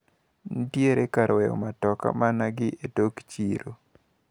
Nitiere kar weyo mtoka mana gi etok chiro.